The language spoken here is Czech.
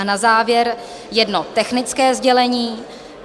A na závěr jedno technické sdělení.